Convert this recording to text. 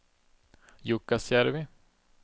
Jukkasjärvi